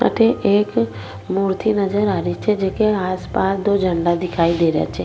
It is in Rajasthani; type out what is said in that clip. अठे एक मूर्ति नजर आ रही छे जेके आस पास दो झंडा दिखाई दे रा छे।